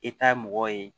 E ta ye mɔgɔ ye